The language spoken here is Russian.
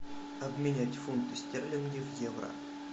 обменять фунты стерлинги в евро